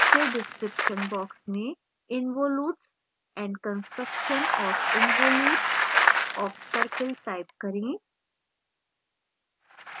फिर description box में involutes and construction of involute of circle type करें